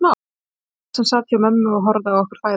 Það var hann sem sat hjá mömmu og horfði á okkur fæðast.